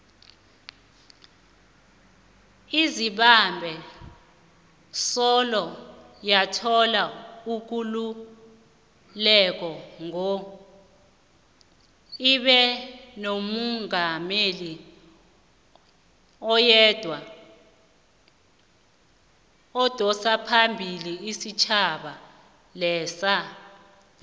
izimbabwe soloyathola ikululeko ngo ibenomungameli oyedwa odosaphambili isitjhaba lesa